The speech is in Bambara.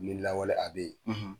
Ni lawale a bɛ yen.